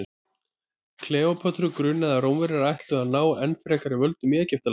kleópötru grunaði að rómverjarnir ætluðu að ná enn frekari völdum í egyptalandi